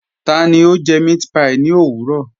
Tani o jẹ mẹ̀àtpí ní ọ̀wurọ̀?